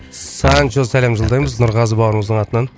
санчо сәлем жолдаймыз нұрғазы бауырыңыздың атынан